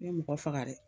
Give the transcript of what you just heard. N ye mɔgɔ faga dɛ